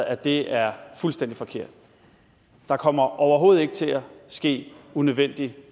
at det er fuldstændig forkert der kommer overhovedet ikke til at ske unødvendig